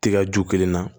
Tiga ju kelen na